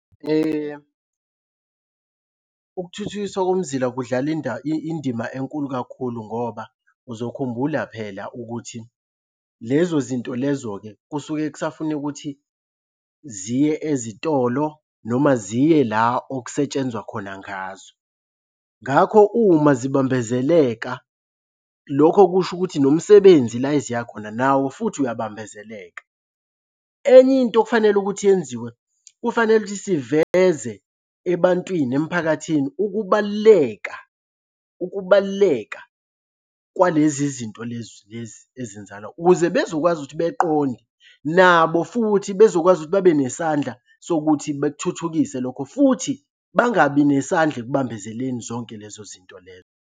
Ukuthuthukiswa komzila kudlala indima enkulu kakhulu ngoba uzokhumbula phela ukuthi lezo zinto lezo-ke kusuke kusafuna ukuthi ziye ezitolo noma ziye la okusetshenzwa khona ngazo. Ngakho uma zibambezeleka, lokho kusho ukuthi nomsebenzi la eziya khona nawo futhi uyabambezeleka. Enye into okufanele ukuthi yenziwe kufanele ukuthi siveze ebantwini, emphakathini, ukubaluleka ukubaluleka kwalezi zinto lezi lezi ezenzakala, ukuze bezokwazi ukuthi beqonde nabo futhi bezokwazi ukuthi babe nesandla sokuthi bethuthukise lokho futhi bangabi nesandla ekubambezeleni zonke lezo zinto lezo.